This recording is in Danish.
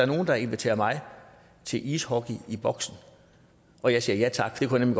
nogle der inviterer mig til ishockey i boxen og jeg siger ja tak det kunne